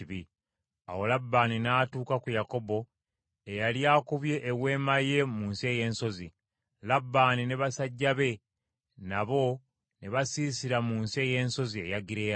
Awo Labbaani n’atuuka ku Yakobo, eyali akubye eweema ye mu nsi ey’ensozi, Labbaani ne basajja be nabo ne basiisira mu nsi ey’ensozi eya Giriyaadi.